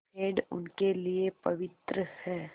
पेड़ उनके लिए पवित्र हैं